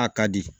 A ka di